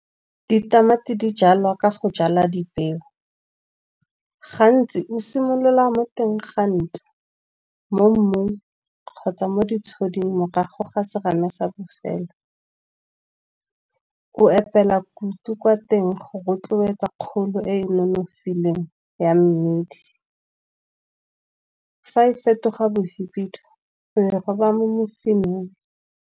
Ditamati di jalwa ka go jala dipeo, gantsi o simolola mo teng ga ntlo, mo mmung kgotsa mo ditshuding morago ga serame sa bofelo. Go epela kutu kwa teng go rotloetsa kgolo e e nonofileng ya mmidi. Fa e fetoga bo hibidu o e roba mo mosimeng.